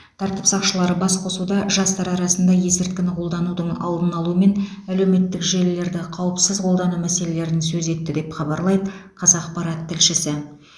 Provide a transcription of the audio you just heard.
тәртіп сақшылары басқосуда жастар арасында есірткіні қолданудың алдын алу мен әлеуметтік желілерді қауіпсіз қолдану мәселелерін сөз етті деп хабарлайды қазақпарат тілшісі